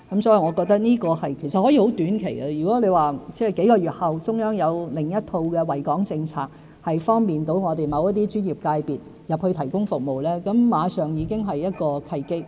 這或可以短期內做到，如果數個月後中央有另一套惠港政策，能方便我們某些專業界別進入大灣區提供服務，馬上已經是一個契機。